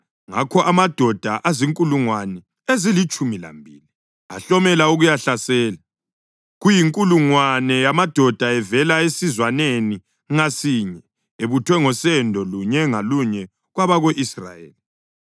Ngakho amadoda azinkulungwane ezilitshumi lambili ahlomela ukuyahlasela, kuyinkulungwane yamadoda avela esizwaneni ngasinye, ebuthwe ngosendo lunye ngalunye kwabako-Israyeli.